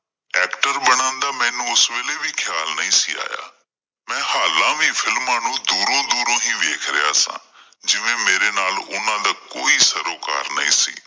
actor ਬਣਨ ਦਾ ਮੈਨੂੰ ਉਸ ਵੇਲੇ ਵੀ ਖ਼ਿਆਲ ਨਹੀਂ ਸੀ ਆਇਆ, ਮੈਂ ਹਾਲਾ ਵੀ films ਨੂੰ ਦੂਰੋਂ-ਦੂਰੋਂ ਹੀ ਵੇਖ ਰਿਹਾ ਸਾਂ, ਜਿਵੇਂ ਮੇਰੇ ਨਾਲ ਉਹਨਾਂ ਦਾ ਕੋਈ ਸਰੋਕਾਰ ਨਹੀਂ ।